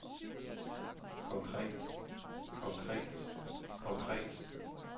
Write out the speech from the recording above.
konkret konkret konkret